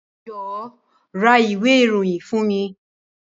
Jọ̀wọ́ ra ìwé ìròyìn fún mi.